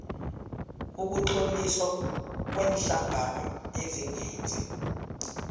ukutloliswa kweenhlangano ezingenzi